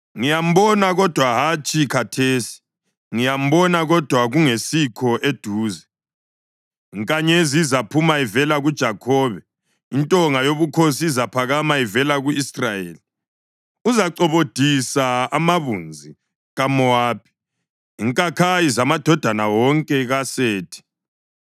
Ngiyambona, kodwa hatshi khathesi; ngiyambona, kodwa kungesikho eduze. Inkanyezi izaphuma ivela kuJakhobe; intonga yobukhosi izaphakama ivela ku-Israyeli. Uzacobodisa amabunzi kaMowabi, inkakhayi zamadodana wonke kaSethi.